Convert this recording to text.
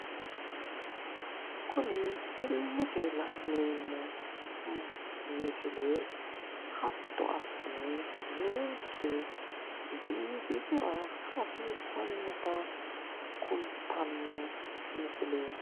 Kuni illete la'neemmo misile hatto assine ninke biifisira hasiissannota kultanno misileeti.